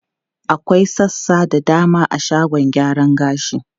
Akwai sassa da dama a shagon gyaran gashi.